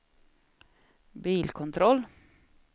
bilkontroll